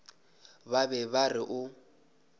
ba be ba re o